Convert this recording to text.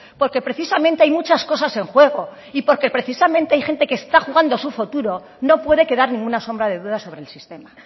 porque precisamente hay muchas cosas en juego y porque precisamente hay gente que se está jugando su futuro no puede quedar ninguna sombra de duda sobre el sistema